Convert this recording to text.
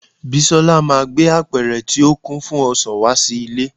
bisola ma gbe apẹrẹ ti o kin fún ọsàn wá sí ilẹ